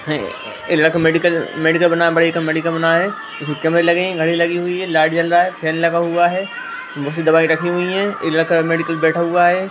ए-ए लड़का medical medical बना medical बना है उसमे कमरे लगे हैं घड़ी लगी हुई हैं लाइट जल रहा है फैन लग हुआ है बहुत सी दवाई रखी हुई हैं एक लड़का मेडिकल बैठा हुआ है।